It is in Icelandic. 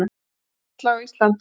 Loftslag á Íslandi